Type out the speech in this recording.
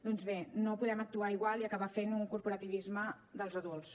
doncs bé no podem actuar igual i acabar fent un corporativisme dels adults